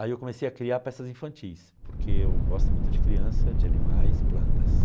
Aí eu comecei a criar peças infantis, porque eu gosto muito de criança, de animais, plantas.